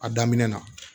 A daminɛ na